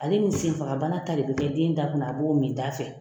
Ale ni senfagabana ta de bɛ kɛ den da kɔnɔ a b'o min ɲɔgɔn fɛ.